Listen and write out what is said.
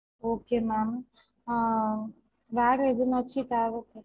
Okay ma'am ஆஹ் வேற எதுனாச்சு தேவ